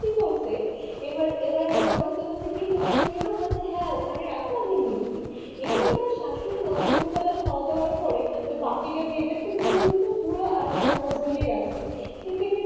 কি করেছে এবার এবার ননদ কে বলছি কি তুমি নিয়ে নাও বলছে হ্যাঁ ওখানে রাখো আমি নিচ্ছি এবার আমার শাশুড়িমা দুপুরবেলা খাওয়া দাওয়ার পরে ওই বাটিটা গিয়ে দেখছে কি বলুন তো পুরো আর কি ওনার জন্য রাখছি খেতে খেতেই,